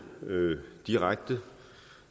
direkte